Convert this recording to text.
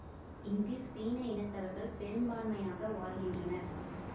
இங்கு சீன இனத்தவர்கள் பெரும்பான்மையாக வாழ்கின்றனர்